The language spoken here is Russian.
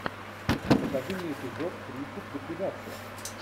покажи мне эпизод тридцать ликвидация